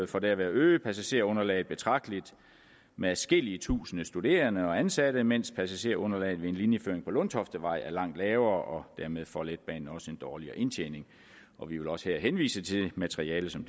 for derved at øge passagergrundlaget betragteligt med adskillige tusinde studerende og ansatte mens passagergrundlaget ved en linjeføring på lundtoftevej er langt lavere og dermed får letbanen også en dårligere indtjening og vi vil også her henvise til det materiale som